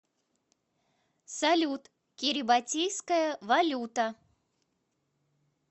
салют кирибатийская валюта